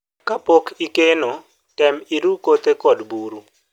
kapok ikeno tem iru kothe kod buru